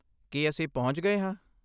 ਕੀ ਅਸੀਂ ਪਹੁੰਚ ਗਏ ਹਾਂ?